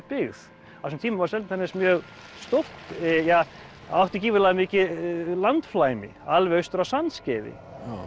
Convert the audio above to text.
byggð á þessum tíma var Seltjarnarnes mjög stórt ja átti gífurlega mikið landflæmi alveg austur að Sandskeiði